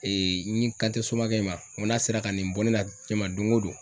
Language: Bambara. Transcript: n yin kan te somakɛ in ma ŋo n'a sera ka nin bɔ ne la jɛma doŋo don